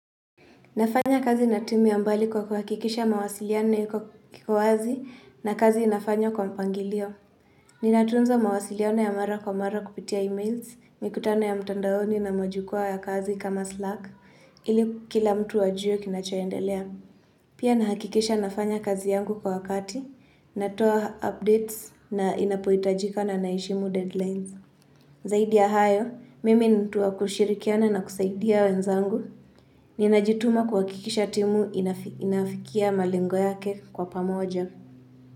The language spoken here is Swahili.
Nafanya kazi na timu ya mbali kwa kuhakikisha mawasiliano iko wazi na kazi inafanywa kwa mpangilio. Ninatunza mawasiliano ya mara kwa mara kupitia emails, mikutano ya mtandaoni na majukwaa ya kazi kama Slack, ili kila mtu ajue kinachoendelea. Pia nahakikisha nafanya kazi yangu kwa wakati, natoa updates na inapohitajika na naheshimu deadlines. Zaidi ya hayo, mimi ni mtu wa kushirikiana na kusaidia wenzangu. Ninajituma kwa kuhakikisha timu inafikia malengo yake kwa pamoja.